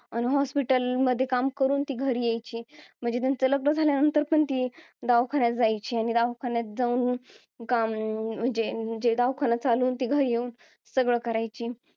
hospital मध्ये काम करून ती घरी यायची म्हणजे त्यांचं लग्न झाल्यानंतर पण ती दवाखान्यात जायची आणि दवाखान्यात जाऊन काम म्हणजे अं म्हणजे अं म्हणजे दवाखाना चालवून घरी येऊन सगळं करायची